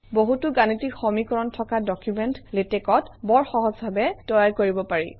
বহুতো গাণিতিক সমীকৰণ থকা ডকুমেণ্ট লেটেক্সত বৰ সহজভাৱে তৈয়াৰ কৰিব পাৰি